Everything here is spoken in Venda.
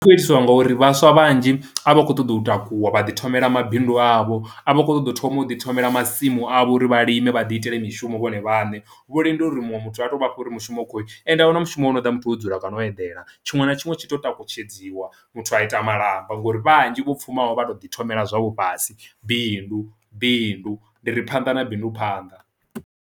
Zwi kho itiiswa ngori vhaswa vhanzhi a vha khou ṱoḓa u takuwa vha ḓi thomela mabindu avho a vha khou ṱoḓa u thoma u ḓi thomela masimu avho uri vha lime vha ḓi itele mishumo vhone vhane, vho lindela uri muṅwe muthu a to vhafha uri mushumo u kho ende a mushumo wa ṱoḓa muthu wo dzula kana u eḓela. Tshiṅwe na tshiṅwe tshi to takutshedziwa muthu a ita malamba ngori vhanzhi vho pfhumaho vha to ḓi thomela zwavho fhasi bindu bindu ndi ri phanḓa na bindu phanḓa